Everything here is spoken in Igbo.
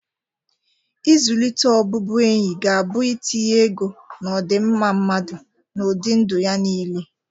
Ịzụlite ọbụbụenyi ga-abụ itinye ego n'ọdịmma mmadụ na ụdị ndụ ya niile.